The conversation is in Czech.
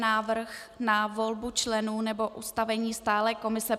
Návrh na volbu členů nebo ustavení stálé komise